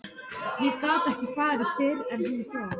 Ég gat ekki farið fyrr en hún kom.